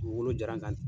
Dugukolo jara n kan